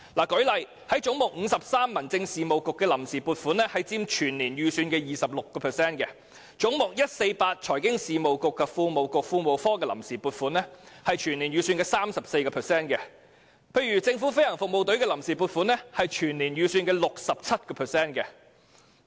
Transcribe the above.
舉例來說，在"總目53 ─政府總部：民政事務局"的臨時撥款佔全年預算的 26%；" 總目148 ─政府總部：財經事務及庫務局"的臨時撥款佔全年預算 34%；" 總目166 ─政府飛行服務隊"的臨時撥款更佔全年預算 67%。